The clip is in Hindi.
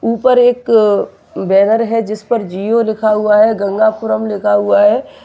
ऊपर एक बैनर है जिस पर जिओ लिखा हुआ है गंगापुरम लिखा हुआ है।